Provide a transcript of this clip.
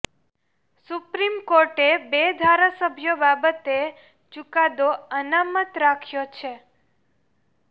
supreme કોર્ટે બે ધારાસભ્યો બાબતે ચુકાદો અનામત રાખ્યો છે